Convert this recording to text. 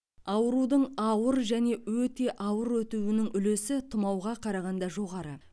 аурудың ауыр және өте ауыр өтуінің үлесі тұмауға қарағанда жоғары